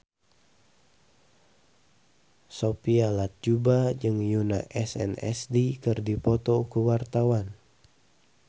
Sophia Latjuba jeung Yoona SNSD keur dipoto ku wartawan